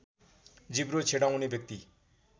जिब्रो छेडाउने व्यक्ति